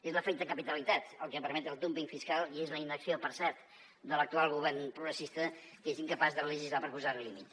és l’efecte capitalitat el que permet el dúmping fiscal i és la inacció per cert de l’actual govern progressista que és incapaç de legislar per posar hi límit